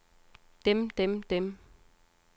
dem dem dem